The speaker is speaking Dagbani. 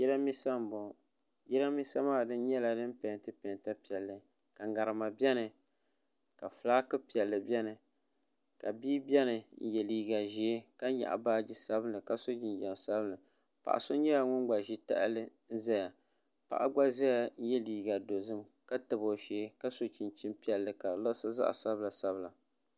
jarinibɛsa n bɔŋɔ jarinibɛsa maa nyɛla din pɛnitɛ pɛnta piɛli ka ŋmɛrima bɛni ka ƒɔlaki piɛli bɛni ka bia bɛni n yɛ liga ʒiɛ ka nyɛgi baaji sabilinli ka so jinjam sabinli paɣ' so nyɛla ŋɔ gba ʒɛ tahili zaya paɣ' gba ʒɛya yɛ liga dozim ka ƒɔlaki bɛn ka di luɣ' si zaɣ sabilinla